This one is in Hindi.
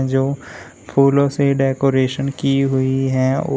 जो फूलों से डेकोरेशन की हुई है।